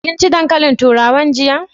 Kin ci dankalin turawan jiya?